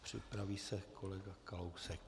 Připraví se kolega Kalousek.